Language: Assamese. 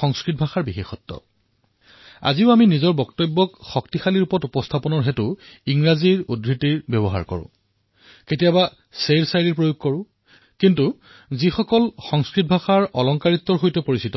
সংস্কৃত ভাষাৰ বিশেষত্ব হল যে আমি কেতিয়াবা নিজৰ কথাক গুৰুত্ব অধিক কৰিবলৈ ইংৰাজী উদ্ধৃতি দিওঁ কিন্তু যিসকল লোকে সংস্কৃত শুভাষিতৰ দ্বাৰা পৰিচিত